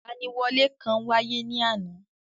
Ìgbaniwọlé kan-an wáyé ni àná.